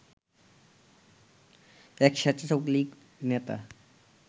এক স্বেচ্ছাসেবক লীগ নেতা